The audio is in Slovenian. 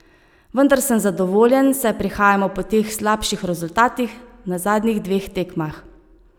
Vendar sem zadovoljen, saj prihajamo po teh slabših rezultatih na zadnjih dveh tekmah.